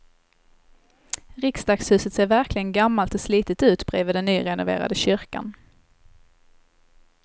Riksdagshuset ser verkligen gammalt och slitet ut bredvid den nyrenoverade kyrkan.